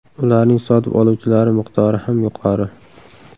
Ularning sotib oluvchilari miqdori ham yuqori.